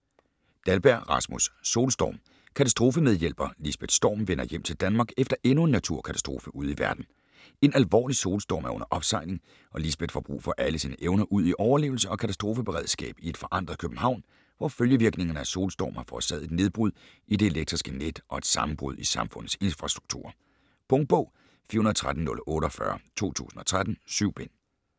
Dahlberg, Rasmus: Solstorm Katastrofemedhjælper Lisbeth Storm vender hjem til Danmark efter endnu en naturkatastrofe ude i verden. En alvorlig solstorm er under opsejling og Lisbeth får brug for alle sine evner udi overlevelse og katastrofeberedskab i et forandret København, hvor følgevirkningerne af solstormen har forårsaget et nedbrud i det elektriske net og et sammenbrud i samfundets infrastrukturer. Punktbog 413048 2013. 7 bind.